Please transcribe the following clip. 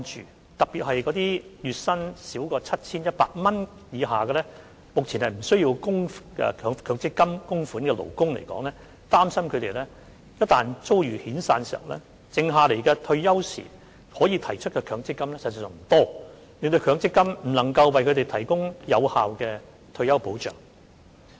議員特別關注那些月薪 7,100 元以下，目前無須向強積金計劃供款的勞工，擔心他們一旦遭遣散，他們在退休時可提取的強積金款額所餘無幾，令強積金不能為他們提供有效退休保障。